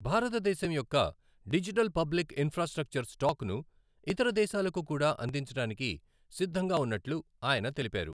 భారతదేశం యొక్క digital public infrastructure stack ను ఇతర దేశాలకు కూడా అందించడానికి సిద్ధంగా ఉన్నట్లు ఆయన తెలిపారు.